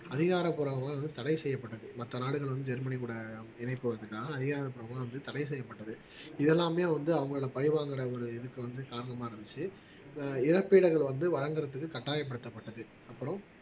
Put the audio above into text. அதிகாரப்பூர்வமா வந்து தட செய்யப்பட்டது மத்த நாடுகள் வந்து ஜெர்மனி கூட இணைப்பதற்காக அதிகாரப்பூர்வமாக வந்து தட செய்யப்பட்டது இதெல்லாமே வந்து அவங்களோட பழிவாங்கற ஒரு இதுக்கு வந்து காரணமா இருந்துச்சு ஆஹ் இழப்பீடுகள் வந்து வழங்கறதுக்கு கட்டாயப்படுத்தப்பட்டது அப்பறம்